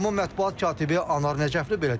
Qurumun mətbuat katibi Anar Nəcəfli belə deyir.